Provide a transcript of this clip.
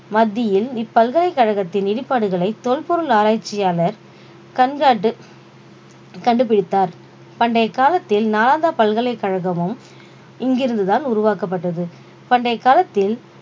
மத்தியில் இப்பல்கலைக்கழகத்தின் இடிபாடுகளை தொல்பொருள் ஆராய்ச்சியாளர் கண்காட்டு கண்டுபிடித்தார் பண்டைய காலத்தில் நாளந்தா பல்கலைக்கழகமும் இங்கிருந்துதான் உருவாக்கப்பட்டது பண்டைய காலத்தில்